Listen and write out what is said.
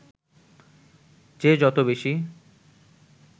যে যত বেশি